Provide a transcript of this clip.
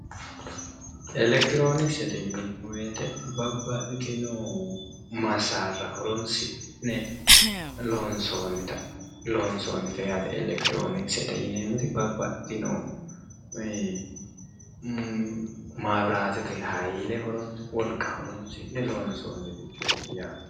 Elekirironokisete yinneemmo woyte babbaxitino masara horonsi'ne loonsonite yaate elekitirionikise yinneemmoti babbaxitino mayibiratete hayile wolqa horonsi'ne loonsonirichoti yaate.